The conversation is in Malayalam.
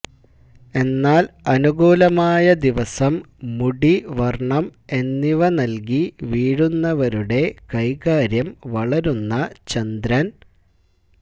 എന്നാൽ അനുകൂലമായ ദിവസം മുടി വർണ്ണം എന്നിവ നൽകി വീഴുന്നവരുടെ കൈകാര്യം വളരുന്ന ചന്ദ്രൻ